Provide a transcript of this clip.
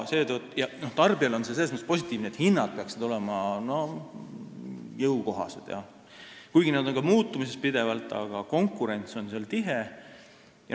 Tarbijale on see selles mõttes positiivne, et hinnad peaksid olema jõukohased, kuigi need on pidevas muutumises.